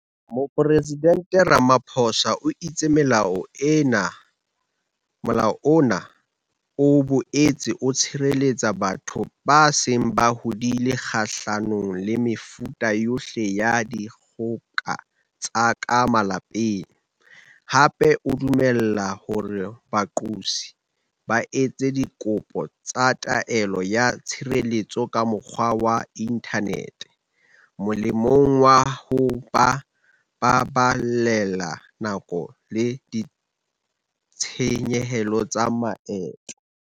Mopresidente Ramaphosa o itse Molao ona o boetse o tshireletsa batho ba seng ba hodile kgahlanong le mefuta yohle ya dikgoka tsa ka malapeng, hape o dumella hore baqosi ba etse dikopo tsa taelo ya tshireletso ka mokgwa wa inthanete, molemong wa ho ba baballela nako le ditshenyehelo tsa maeto.